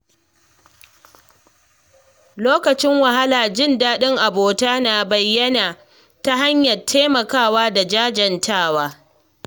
Lokacin wahala, jin daɗin abota na bayyana ta hanyar taimako da jajantawa.